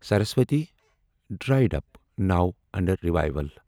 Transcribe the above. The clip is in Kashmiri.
سرس وتی ڈریڈ اوپ، نو اَنٛڈر رِیویٖول